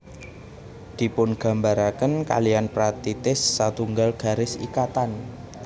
Dipungambaraken kaliyan pratitis satunggal garis ikatan